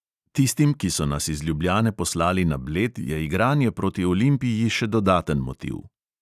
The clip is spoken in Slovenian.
Tistim, ki so nas iz ljubljane poslali na bled, je igranje proti olimpiji še dodaten motiv.